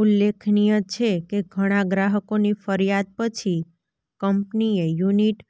ઉલ્લેખનિય છે કે ઘણા ગ્રાહકોની ફરિયાદ પછી કંપનીએ યૂનિટ